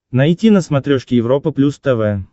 найти на смотрешке европа плюс тв